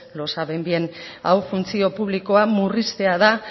lo saben bien hau funtzio publikoa murriztea da